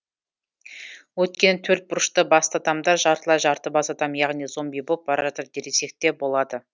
өйткені төрт бұрышты басты адамдар жартылай жарты бас адам яғни зомби боп бара жатыр десекте болады